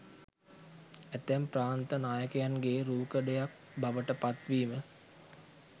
ඇතැම් ප්‍රාන්ත නායකයන්ගේ රූකඩයක් බවට පත් වීම